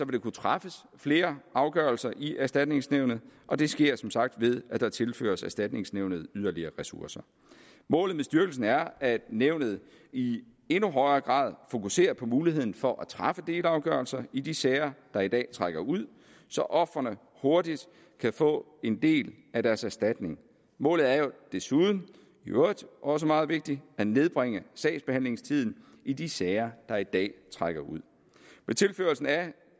der kunne træffes flere afgørelser i erstatningsnævnet og det sker som sagt ved at der tilføres erstatningsnævnet yderligere ressourcer målet med styrkelsen er at nævnet i endnu højere grad fokuserer på muligheden for at træffe delafgørelser i de sager der i dag trækker ud så ofrene hurtigt kan få en del af deres erstatning målet er jo desuden i øvrigt også meget vigtigt at nedbringe sagsbehandlingstiden i de sager der i dag trækker ud med tilførslen af